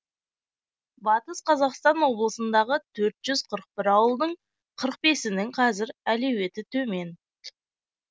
батыс қазақстан облысындағы төртжүз қырық бір ауылдың қырық бірінің қазір әлеуеті төмен